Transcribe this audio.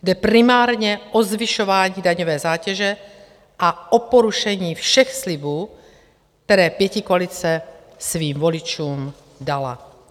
Jde primárně o zvyšování daňové zátěže a o porušení všech slibů, které pětikoalice svým voličům dala.